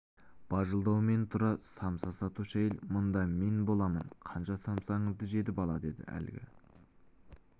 бажылдаумен тұр самса сатушы әйел мында мен боламын қанша самсаңызды жеді бала деді әлгі